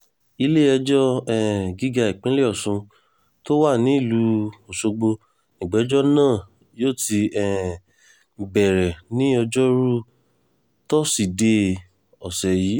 ilé-ẹjọ́ um gíga ìpínlẹ̀ ọ̀sùn tó wà nílùú ọ̀ṣọ́gbó nígbẹ̀jọ náà yóò ti um bẹ̀rẹ̀ ní ọjọ́rùú tọ́sídẹ̀ẹ́ ọ̀sẹ̀ yìí